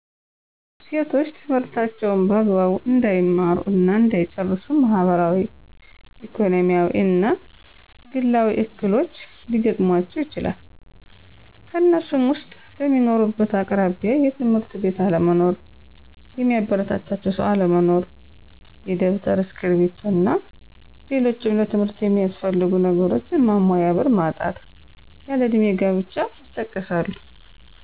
ሴቶች ትምህርታቸውን በአግባቡ እንዳይማሩ እና እንዳይጨርሱ ማህበራዊ፣ ኢኮኖሚያዊ እና ግላዊ እክሎች ሊገጥሙአቸው ይችላል። ከነሱም ውስጥ፦ በሚኖሩበት አቅራቢያ የ ትምህርት ቤት አለመኖር፣ የሚያበረታታቸው ሰው አለመኖር፣ የደብተር፤ እስክርቢቶ እና ሌሎችም ለትምህርት ሚያስፈልጉ ነገሮች ማሟያ ብር ማጣት፣ ያለ እድሜ ጋብቻ ይጠቀሳሉ።